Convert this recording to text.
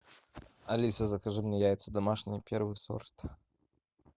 алиса закажи мне яйца домашние первый сорт